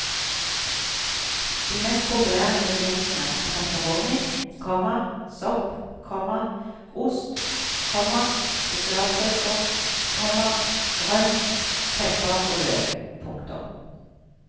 De mest populære ingrediensene er pepperoni, komma sopp, komma ost, komma spesialsauser, komma grønn pepper og løk. punktum